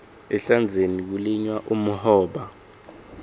ehlandzeni kulinywa umhoba